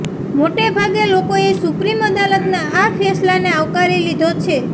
મોટે ભાગે લોકોએ સુપ્રીમ અદાલતના આ ફેસલાને આવકારી લીધો છે